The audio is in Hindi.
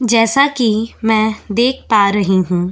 जैसा कि मैं देख पा रही हूं।